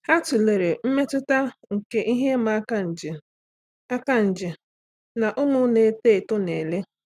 Há tụ́lèrè mmetụta nke ihe ịma aka nje aka nje na ụ́mụ́ nà-èto ètò nà-èlé.